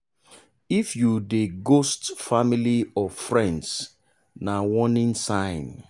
if you dey ghost family or friends na warning sign.